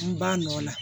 N ba nɔ na